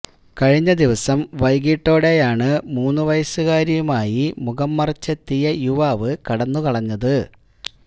കഴിഞ്ഞ ദിവസം വൈകിട്ടോടെയാണ് മൂന്നു വയസുകാരിയുമായി മുഖം മറച്ചെത്തിയ യുവാവ് കടന്നുകളഞ്ഞത്